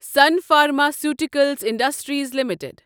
sun pharmaceuticals industries limited